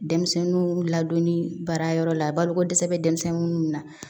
Denmisɛnninw ladonni baara yɔrɔ la baloko dɛsɛ bɛ denmisɛnnin minnu na